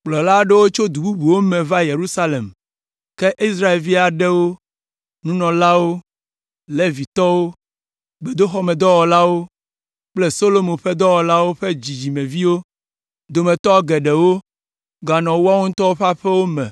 Kplɔla aɖewo tso du bubuwo me va Yerusalem, ke Israelvi aɖewo, nunɔlawo, Levitɔwo, gbedoxɔmedɔwɔlawo kple Solomo ƒe dɔwɔlawo ƒe dzidzimeviwo dometɔ geɖewo ganɔ woawo ŋutɔ ƒe aƒewo me